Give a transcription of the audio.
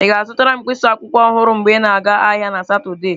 Ị ga-azụtara m mkpịsị akwụkwọ ọhụrụ mgbe ị na-aga ahịa na Satọde?